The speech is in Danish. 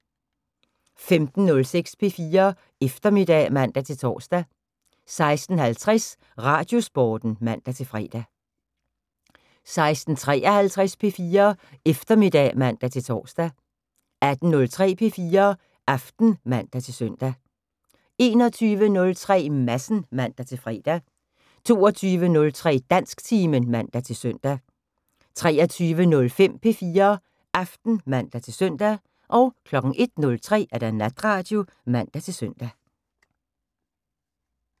15:06: P4 Eftermiddag (man-tor) 16:50: Radiosporten (man-fre) 16:53: P4 Eftermiddag (man-tor) 18:03: P4 Aften (man-søn) 21:03: Madsen (man-fre) 22:03: Dansktimen (man-søn) 23:05: P4 Aften (man-søn) 01:03: Natradio (man-søn)